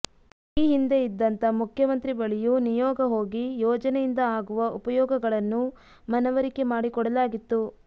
ಈ ಹಿಂದೆ ಇದ್ದಂತ ಮುಖ್ಯಮಂತ್ರಿ ಬಳಿಯೂ ನಿಯೋಗ ಹೋಗಿ ಯೋಜನೆಯಿಂದ ಆಗುವ ಉಪಯೋಗಗಳನ್ನು ಮನವರಿಕೆ ಮಾಡಿಕೊಡಲಾಗಿತ್ತು